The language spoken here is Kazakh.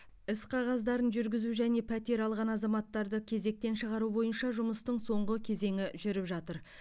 іс қағаздарын жүргізу және пәтер алған азаматтарды кезектен шығару бойынша жұмыстың соңғы кезеңі жүріп жатыр